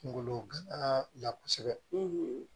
Kungolo gana la kosɛbɛ